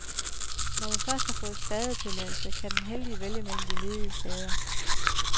Når man først har fået stadetilladelse, kan den heldige vælge mellem de ledige stader.